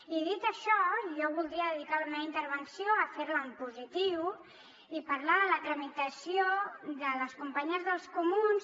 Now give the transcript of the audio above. i dit això jo voldria dedicar la meva intervenció a fer la en positiu i a parlar de la tramitació de les companyes dels comuns